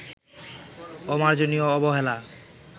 অমার্জনীয় অবহেলা